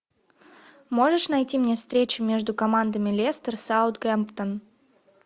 можешь найти мне встречу между командами лестер саутгемптон